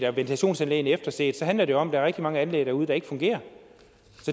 og ventilationsanlægene efterset handler det om at der er mange anlæg derude der ikke fungerer